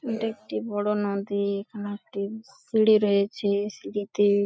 ওইটা একটি বড় নদী-ই এখানে একটি সিঁড়ি রয়েছে সিঁড়িতে--